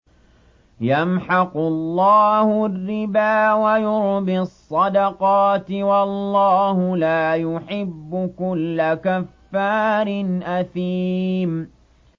يَمْحَقُ اللَّهُ الرِّبَا وَيُرْبِي الصَّدَقَاتِ ۗ وَاللَّهُ لَا يُحِبُّ كُلَّ كَفَّارٍ أَثِيمٍ